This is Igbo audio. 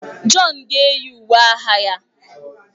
John ga-eyi uwe agha ya.